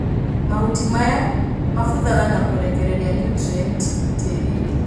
Mahuti maya mabuthaga na kũrekeriria niutrienti tĩrinĩ.